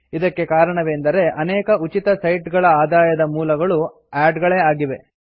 ಇದಕ್ಕೆ ಕಾರಣವೆಂದರೆ ಅನೇಕ ಉಚಿತ ಸೈಟ್ ಗಳ ಆದಾಯದ ಮೂಲ ಆಡ್ ಗಳೇ ಆಗಿವೆ